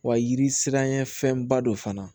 Wa yiri siranɲɛ fɛnba dɔ fana